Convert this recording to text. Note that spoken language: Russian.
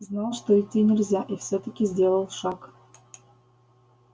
знал что идти нельзя и всё-таки сделал шаг